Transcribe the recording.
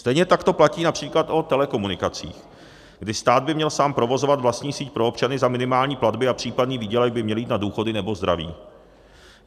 Stejně tak to platí například o telekomunikacích, kdy stát by měl sám provozovat vlastní síť pro občany za minimální platby a případný výdělek by měl jít na důchody nebo zdraví.